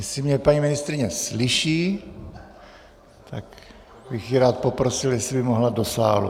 Jestli mě paní ministryně slyší, tak bych ji rád poprosil, jestli by mohla do sálu.